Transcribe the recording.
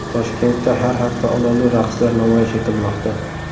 Toshkentda har hafta olovli raqslar namoyish etilmoqda .